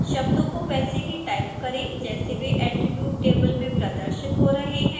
शब्दों को वैसे ही टाइप करें जैसे वे attribute table में प्रदर्शित हो रहे हैं